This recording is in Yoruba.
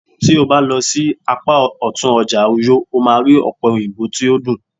ti o ba lo sí apá òtún ọjà uyo, o ma ri òpe oyinbo to dun